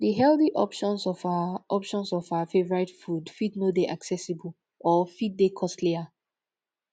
the healthy options of our options of our favourite food fit no dey accessible or fit dey costlier